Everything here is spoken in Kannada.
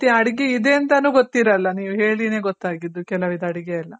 ರೀತಿ ಅಡ್ಗೆ ಇದೆ ಅಂತಾನು ಗೊತ್ತಿರಲ್ಲ. ನೀವ್ ಹೇಳಿನೆ ಗೊತ್ತಾಗಿದ್ದು ಕೆಲವ್ ಇದು ಅಡ್ಗೆ ಎಲ್ಲ.